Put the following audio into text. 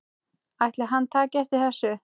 Ætli hann taki eftir þessu?